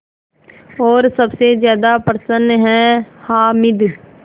और सबसे ज़्यादा प्रसन्न है हामिद